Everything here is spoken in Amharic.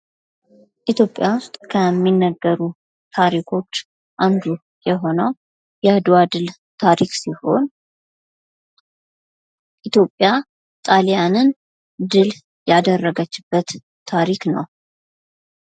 ኢትዮጵያ ውስጥ ከሚነገሩ ታሪኮች አንዱ የሆነው የአድዋ ድል ታሪክ ሲሆን ኢትዮጵያ ጣሊያንን ድል ያደረገችበት ታሪክ ነው ።